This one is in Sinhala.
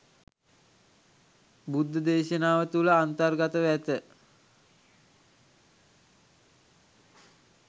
බුද්ධදේශනාව තුළ අන්තර්ගතව ඇත.